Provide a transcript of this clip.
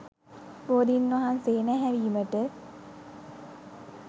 බෝධීන් වහන්සේ නැහැවීමට